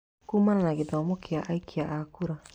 kumana na gĩthomo kĩa aikia a kura.